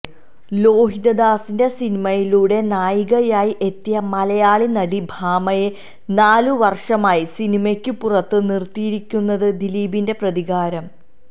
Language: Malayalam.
ലോഹിതദാസിന്റെ സിനിമയിലൂടെ നായികയായി എത്തിയ മലയാളി നടി ഭാമയെ നാലു വർഷമായി സിനിമയ്ക്കു പുറത്തു നിർത്തിയിരിക്കുന്നത് ദിലീപിന്റെ പ്രതികാരം